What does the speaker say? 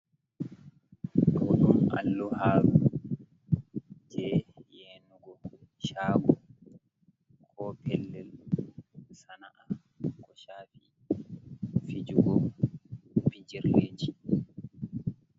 Ɗoɗum alluharu je yenugo chago, ko pellel sana’a, ko ko chafi fijugo bijirleji.